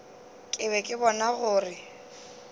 ke be ke bona gore